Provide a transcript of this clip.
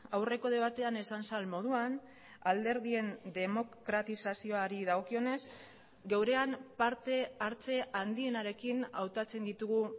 aurreko debatean esan zen moduan alderdien demokratizazioari dagokionez geurean partehartze handienarekin hautatzen ditugu